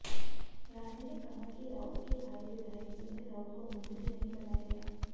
राणे ने कहा कि राऊत के भाई विधायक सुनील राऊत को मंत्री नहीं बनाया गया